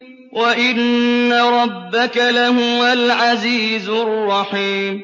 وَإِنَّ رَبَّكَ لَهُوَ الْعَزِيزُ الرَّحِيمُ